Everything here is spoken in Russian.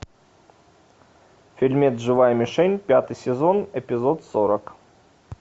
фильмец живая мишень пятый сезон эпизод сорок